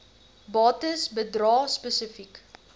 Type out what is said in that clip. bates bedrae spesifiek